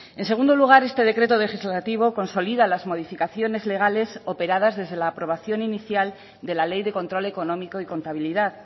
en segundo lugar este decreto legislativo consolida las modificaciones legales operadas desde la aprobación inicial de la ley de control económico y contabilidad